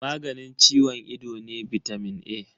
Maganin ciwon ido ne bitamin A.